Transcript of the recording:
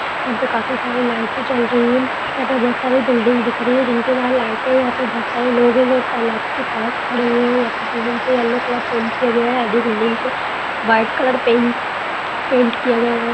यहाँ पे खाफी सारे लाईट जल रही हैं यहाँ पे बहुत साडी बिल्डिंग दिख रही हैं जिनके बाहर लाईट यहाँ पे बहुत सारे लोग हैं जो तलाब के पास खड़े हुए हैं यहा पे बिल्डिंग पे यल्लो कलर पेंट किया गया हैं आगे बिल्डिंग पे वाईट कलर पेंट पेंट किया गया हैं ।